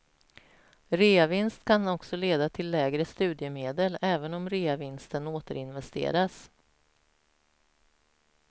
Reavinst kan också leda till lägre studiemedel även om reavinsten återinvesteras.